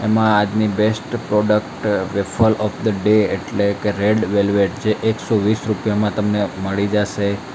એમાં આજની best product wafer of the day એટલે કે રેડ વેલ્વેટ જે એક સો વીસ રૂપિયા માં તમને મળી જશે.